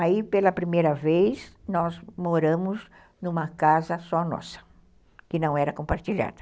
Aí, pela primeira vez, nós moramos numa casa só nossa, que não era compartilhada.